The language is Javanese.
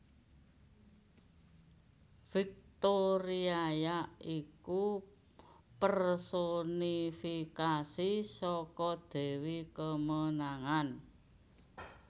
Viktoriaya iku personifikasi saka dewi kemenangan